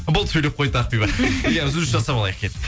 болды сөйлеп қойды ақбибі иә үзіліс жасап алайық кеттік